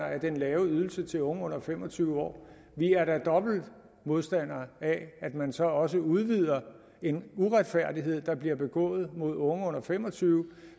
af den lave ydelse til unge under fem og tyve år vi er da dobbelte modstandere af at man så også udvider en uretfærdighed der bliver begået mod unge under fem og tyve